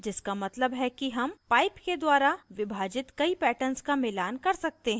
जिसका मतलब है कि हम pipe के द्वारा विभाजित कई patterns का मिलान कर सकते हैं